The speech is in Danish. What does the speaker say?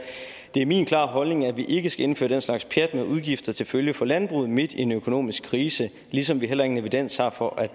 det er min klare holdning at vi ikke skal indføre den slags pjat med udgifter til følge for landbruget midt i en økonomisk krise ligesom vi heller ingen evidens har for at